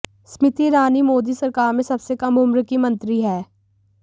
स्मृति ईरानी मोदी सरकार में सबसे कम उम्र की मंत्री हैं